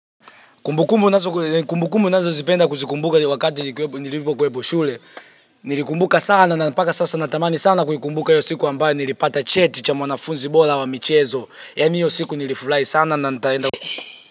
Kumbukumbu ninazo zipenda kuzikumbuka wakati nilipokuwepo shule Nilikumbuka sana na mpaka sasa natamani sana kuikumbuka hiyo siku ambayo nilipata cheti cha mwanafunzi bora wa michezo, yaani hiyo siku nilifurahi sana na nitaenda.